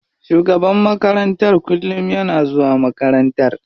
Shugaban makarantar kullum yana zuwa makarantar.